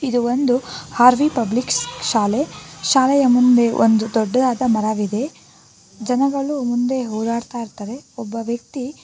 ಇದು ಒಂದು Harvey public ಶಾಲೆ ಶಾಲೆಯ ಮುಂದೆ ಒಂದು ದೊಡ್ಡದಾದ ಮರವಿದೆ ಜನಗಳು ಮುಂದೆ ಹೊರಾಡ್ತಾ ಇರ್ತಾರೆ ಒಬ್ಬ ವ್ಯಕ್ತಿ--